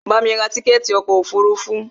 Bamí ra tíkẹ̀ẹ̀ti ọkò òfurufú!